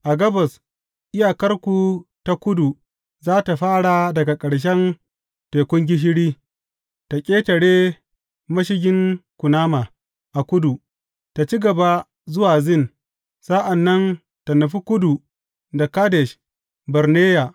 A gabas, iyakarku ta kudu za tă fara daga ƙarshen Tekun Gishiri, tă ƙetare Mashigin Kunama a kudu, tă ci gaba zuwa Zin, sa’an nan tă nufi kudu da Kadesh Barneya.